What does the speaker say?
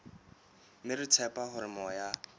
mme re tshepa hore moya